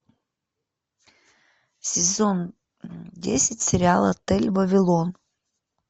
сезон десять сериал отель вавилон